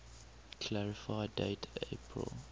clarify date april